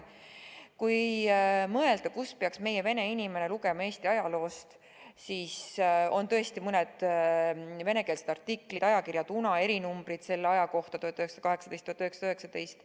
Kui mõelda, kust peaks meie vene inimene lugema Eesti ajaloo kohta, siis on tõesti mõned venekeelsed artiklid, ajakirja Tuna erinumbrid selle aja kohta, 1918–1919.